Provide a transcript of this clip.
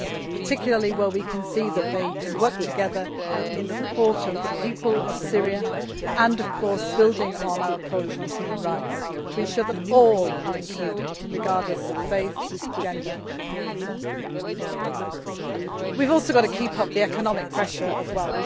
particularly where we can see that they can work together in support of the people of Syria and, of course, building on our approach on human rights to ensure that all are included regardless of faith, gender and so on. We also have to keep up the economic pressure as